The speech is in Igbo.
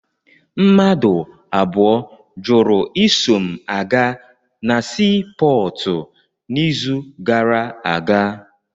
Mmadụ abụọ jụrụ iso m aga na sii pọọtụ n'izu gara aga.